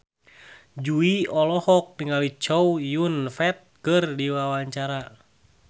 Jui olohok ningali Chow Yun Fat keur diwawancara